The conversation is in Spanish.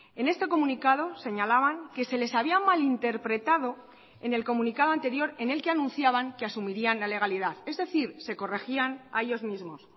en este comunicado señalaban que se les había malinterpretado en el comunicado anterior en el que anunciaban que asumirían la legalidad es decir se corregían a ellos mismos